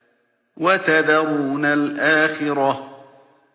وَتَذَرُونَ الْآخِرَةَ